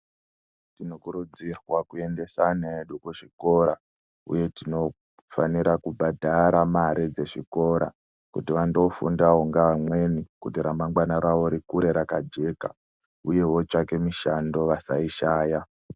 Tinokurudzirwa kuendesa ana edu kuzvikora uye tinofanira kubhadhara mare dzezvikora kuti vandofundawo neamweni kuti ramangwana rawo rikure rakajeka uye votsvaka mishando vasaishaya .